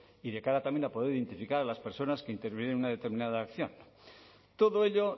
y de cara también a poder identificar a las personas que intervinieron en una determinada acción todo ello